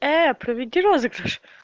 проведи розыгрыш